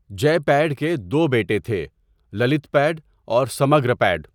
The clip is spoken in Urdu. جےپیڈ کے دو بیٹے تھے للتپیڈ اور سمگرامپیڈ.